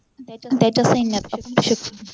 त्याच्या सैन्यात अफाट शक्ती होती